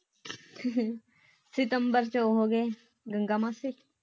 ਸਤੰਬਰ ਵਿਚ ਉਹ ਹੋ ਗਏ ਗੰਗਾ ਮਾਸੀ